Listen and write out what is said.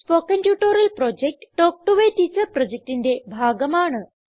spoken tutorial project talk to a teacher പ്രൊജക്റ്റിന്റെ ഭാഗമാണ്